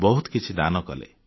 ବହୁତ କିଛି ଦାନ କଲେ